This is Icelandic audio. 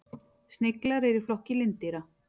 Sniglar eru í flokki lindýra.